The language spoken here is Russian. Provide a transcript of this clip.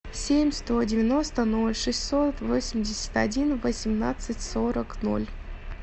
семь сто девяносто ноль шестьсот восемьдесят один восемнадцать сорок ноль